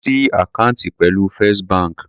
Ó fé ṣí àkáǹtì pẹ̀lú First bank.